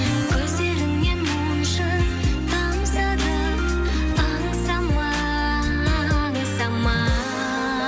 көздеріңнен моншақ тамса да аңсама аңсама